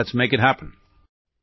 let's make it happen